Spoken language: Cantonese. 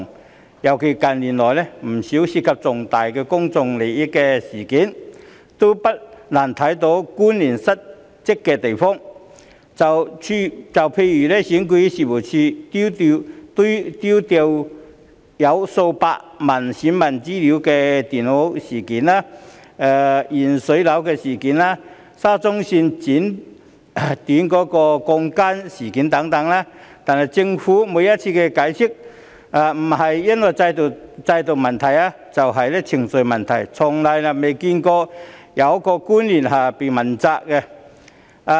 近年尤其如是，因有不少涉及重大公眾利益的事件，不難看到官員失職的地方，例如選舉事務處丟失載有數百萬選民資料的電腦、食水含鉛、沙田至中環綫剪短鋼筋等事件，但政府每次的解釋不是制度出問題，便是程序使然，從未見有官員被問責。